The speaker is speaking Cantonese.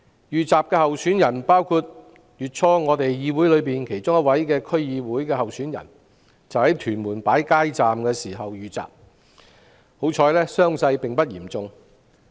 遇襲候選人包括議會內一位區議會候選人，他月初在屯門擺街站時遇襲，幸好傷勢並不嚴重。